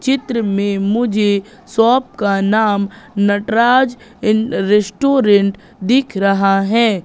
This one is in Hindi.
चित्र में मुझे शॉप का नाम नटराज इन रेस्टोरेंट दिख रहा है।